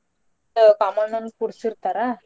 ಮತ್ತೆ ಕಾಮಣ್ಣನ್ ಕೂಡ್ಸಿರ್ತಾರ.